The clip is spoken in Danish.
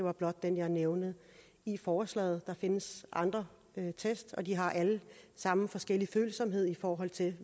er blot den jeg nævner i forslaget der findes andre test og de har alle sammen forskellig følsomhed i forhold til